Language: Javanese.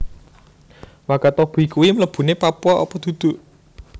Wakatobi kui mlebune Papua opo dudu?